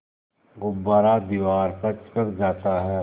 गुब्बारा दीवार पर चिपक जाता है